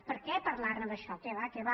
per què parlar ne d’això què va què va